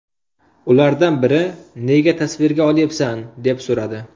Ulardan biri ‘Nega tasvirga olyapsan?’ deb so‘radi.